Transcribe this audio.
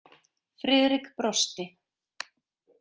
Friðrik brosti.